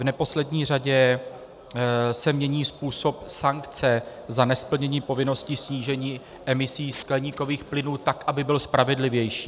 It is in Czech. V neposlední řadě se mění způsob sankce za nesplnění povinností snížení emisí skleníkových plynů tak, aby byl spravedlivější.